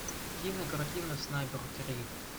кинокартина снайпер три